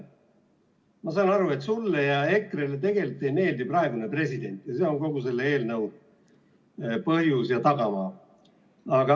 Ma saan aru, et sulle ja EKRE‑le tegelikult ei meeldi praegune president ja see on kogu selle eelnõu põhjus ja tagamaa.